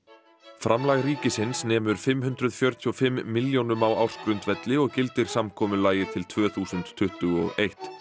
framlag ríkisins nemur fimm hundruð fjörutíu og fimm milljónum á ársgrundvelli og gildir samkomulagið til tvö þúsund tuttugu og eitt